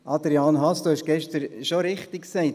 Adrian Haas, du hast es gestern schon richtig gesagt: